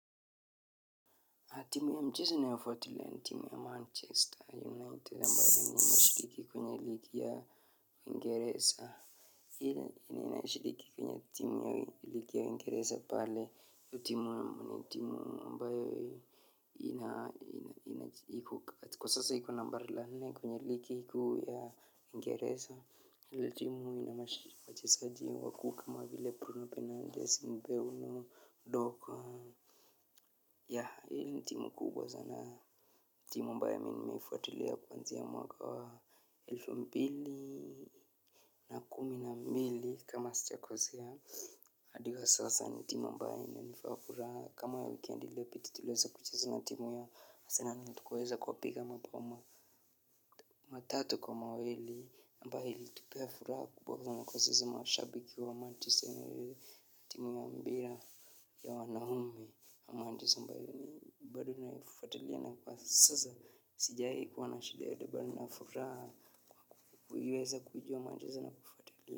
Timu ya mchezo ninayofuatilia ni timu ya Manchester United ambayo inashiriki kwenye ligi ya Uingereza. Ile yenye inashiriki kwenye ligi ya Uingereza pale, hiyo timu ni timu ambayo ina iko kwa sasa iko nambari la nne kwenye ligi kuu ya Uingereza. Hili timu inawachezaji wakuu kama vile Bruno Fernandes, Mbeumo, Dorgu. Hii ni timu kubwa sana, timu ambayo mimi nimeifuatilia kwanzia mwaka wa elfu mbili na kumi na mbili kama sijakosea, hadi wa sasa ni timu ambayo inanipa furaha, kama wikendi iliyopita tuliweza kucheza na timu ya Arsenali na tukaweza kuwapiga mabao ma. Matatu kwa mawili, ambayo ilitupea furaha kubwa sana kwa sisi mashabiki wa Manchester United na timu ya mpira. Ya wanaume, na mwandishi ambaye, bado naifuatalia na kwa sasa, sijai kuwa na shida yoyote bali na furaha, kuiweza kujua Manchester na kufuatilia.